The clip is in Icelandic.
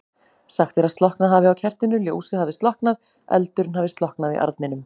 Sagt er að slokknað hafi á kertinu, ljósið hafi slokknað, eldurinn hafi slokknað í arninum.